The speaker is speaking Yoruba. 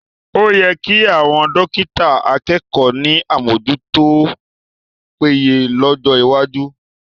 O yẹ kí àwọn dọ́kítà akẹ́kọ̀ọ́ ní àmójútó tó péye lọ́jọ́ iwájú